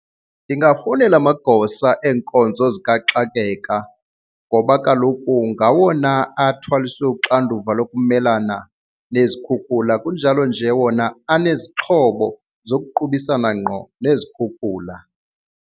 Ndingafowunela amagosa eenkonzo zikaxakeka ngoba kaloku ngawona athwaliswe uxanduva lokumelana nezikhukhula kunjalo nje wona anezixhobo zokuqubisana ngqo nezikhukhula.